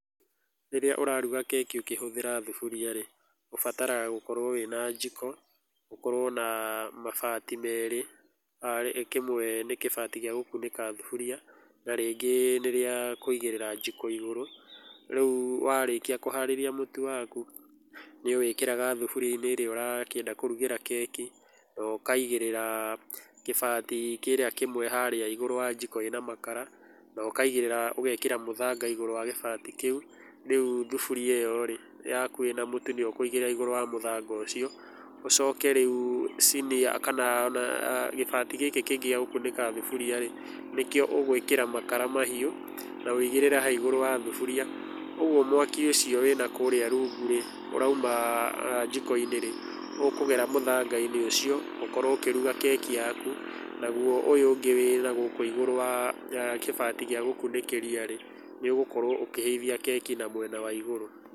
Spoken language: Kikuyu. Rĩrĩa ũraruga keki ũkĩhũthĩra thuburia-rĩ, ũbataraga gũkorwo wĩna njiko, ũkorwo na mabati merĩ arĩ kĩmwe nĩ kĩbati gĩa gũkunĩka thaburia na rĩngĩ nĩrĩa kũigĩrĩra thaburia igũrũ, rĩu warĩkia kũharĩria mũtu waku, nĩũwĩkĩraga thuburia-inĩ ĩrĩa ũrakĩenda kũrugĩra keki, nokaiga kĩbati kĩrĩa kĩmwe harĩa igũrũ wa njiko ĩna makara nokaigĩrĩra ũgekĩra mũthanga igũrũ wa kĩbati kĩu, rĩu thuburia ĩyo-rĩ, yaku ĩna mũtu nĩũkũigĩrĩra igũrũ wa mũthanga ũcio, ũcoke rĩu cinia kana ee na gĩbati gĩkĩ kĩngĩ gĩa gũkunĩka thuburia-rĩ, nĩkĩo ũgwĩkĩra makara mahiũ na wũigĩrĩre haha igũrũ wa thuburia, ũguo mwaki ũcio wĩna kũrĩa rungu-rĩ, ũrauma njiko-inĩ rĩ, ũkũgera mũthanga-inĩ ũcio, ũkorwo ũkĩruga keki yaku naguo ũyũ ũngĩ wĩna gũkũ igũrũ wa gĩbati gĩa gũkunĩkĩra-rĩ, nĩũgũkorwo ũkĩhĩithia keki mwena wa igũrũ.